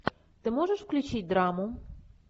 ты можешь включить драму